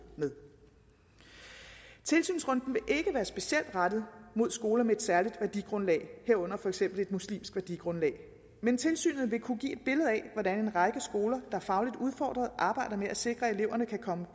med tilsynsrunden vil ikke være specielt rettet mod skoler med et særlig værdigrundlag herunder for eksempel et muslimsk værdigrundlag men tilsynet vil kunne give et billede af hvordan en række skoler er fagligt udfordret arbejder med at sikre at eleverne kan komme